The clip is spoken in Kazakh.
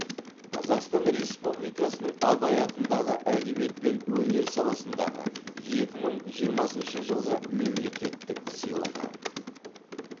қазақстан республикасының абай атындағы әдебиет пен өнер саласындағы екі мың жиырмасыншы жылғы мемлекеттік сыйлығы